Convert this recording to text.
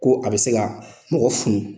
Ko a bɛ se ka mɔgɔ funu.